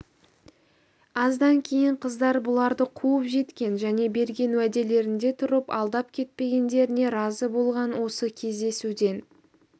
аздан кейін қыздар бұларды қуып жеткен және берген уәделерінде тұрып алдап кетпегендеріне разы болған осы кездесуден